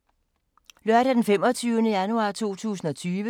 Lørdag d. 25. januar 2020